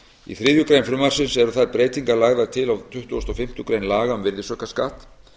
í þriðju greinar frumvarpsins eru þær breytingar lagðar til á tuttugustu og fimmtu grein laga um virðisaukaskatt